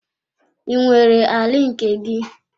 I nwere ala nke gị?